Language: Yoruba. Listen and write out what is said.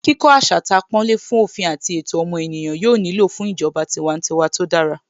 Kíkó asatàpọ́nlé fún òfin àti ẹ̀tọ́ ọmọ ènìyàn yóò nílò fún ìjọba tiwantiwa tó dára